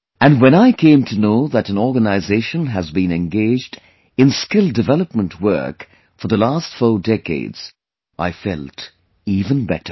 And when I came to know that an organization has been engaged in skill development work for the last four decades, I felt even better